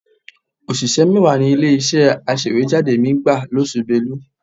Òṣìṣẹ́ mẹ́wàá ni ilé-iṣẹ́ aṣèwéjádé mi gbà lóṣù Belu